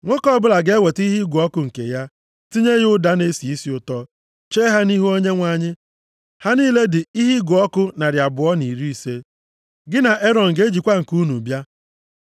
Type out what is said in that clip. Nwoke ọbụla ga-eweta ihe ịgụ ọkụ nke ya, tinye ya ụda na-esi isi ụtọ, chee ha nʼihu Onyenwe anyị. Ha niile dị ihe ịgụ ọkụ narị abụọ na iri ise. Gị na Erọn ga-ejikwa nke unu bịa.”